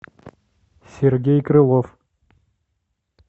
сергей крылов